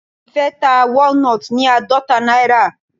Ìfẹ́ ta walnut ní àádọta náírà.